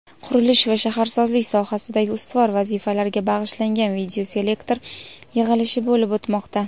qurilish va shaharsozlik sohasidagi ustuvor vazifalarga bag‘ishlangan videoselektor yig‘ilishi bo‘lib o‘tmoqda.